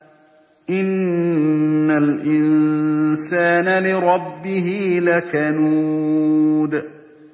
إِنَّ الْإِنسَانَ لِرَبِّهِ لَكَنُودٌ